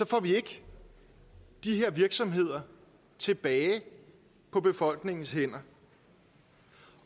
får vi ikke de her virksomheder tilbage på befolkningens hænder